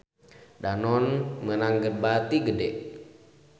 Danone meunang bati gede